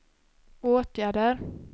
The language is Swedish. åtgärder